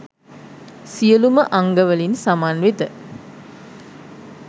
සියලුම අංගවලින් සමන්විත